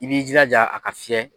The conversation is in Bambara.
I b'i jilaja a ka fiyɛ.